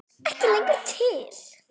Ekki lengur til!